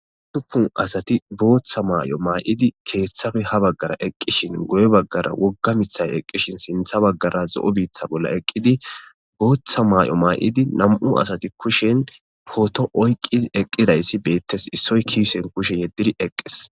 utuppun asati booththa maay7o maa7idi keeththafe ha baggara eqqishin goye baggara wogga mithay eqqishin sintha baggara zo7o biitha bolla eqqidi booththa maay7o maa7idi nam7u asati kushen pooto oyqqidi eqqidayssi beettes issoy kiisehen kushe yeddidi eqqes